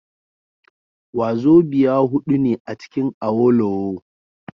Wazobia hudu ne acikin Awolowo